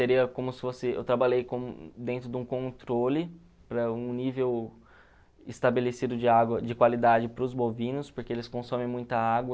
como se fosse... Eu trabalhei dentro de um controle para um nível estabelecido de água de qualidade para os bovinos, porque eles consomem muita água.